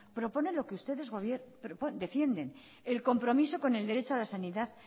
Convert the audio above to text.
propone lo que ustedes defienden el compromiso con el derecho a la sanidad